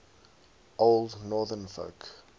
old northern folk